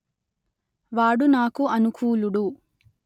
వాడు నాకు అనుకూలుడు